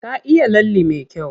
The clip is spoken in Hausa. Ta iya lalle me kyau.